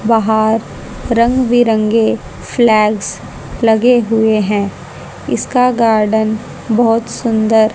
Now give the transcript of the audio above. बाहर रंग बिरंगे फ्लैग्स लगे हुए है इसका गार्डन बहोत सुंदर--